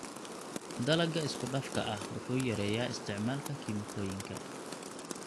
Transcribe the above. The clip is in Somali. Dalagga isku-dhafka ah wuxuu yareeyaa isticmaalka kiimikooyinka.